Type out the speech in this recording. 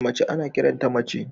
Mace ana kiran ta mace.